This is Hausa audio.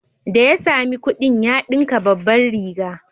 Da ya sami kuɗin ya ɗinka babbar riga